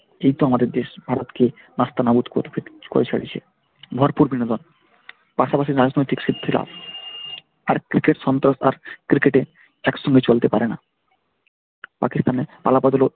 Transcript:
দিব্য আমাদের দেশ ভারতকে নাস্তানাবুদ করে ছেড়েছে ভরপুর বিনোদন পাশাপাশি রাজনৈতিক সিদ্ধি লাভ। আর cricket সন্তোশ আর cricket এ একসঙ্গে চলতে পারে না পাকিস্তানের পালাবদলও,